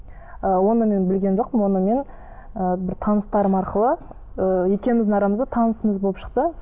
ыыы оны мен білген жоқпын оны мен ііі бір таныстарым арқылы і екеуіміздің арамызда танысымыз болып шықты